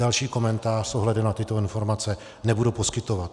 Další komentář s ohledem na tyto informace nebudu poskytovat.